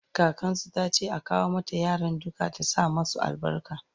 kakansu tace a kawo mata yaran duka ta sa masu albarka